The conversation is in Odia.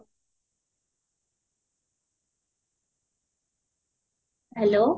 hello